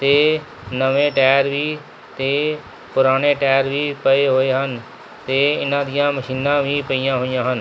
ਤੇ ਨਵੇਂ ਟਾਇਰ ਵੀ ਤੇ ਪੁਰਾਨੇ ਟਾਇਰ ਵੀ ਪਏ ਹੋਏ ਹਨ ਤੇ ਇਹਨਾਂ ਦਿਆਂ ਮਸ਼ੀਨਾਂ ਵੀ ਪਈਆਂ ਹੋਈ ਆਂ ਹਨ।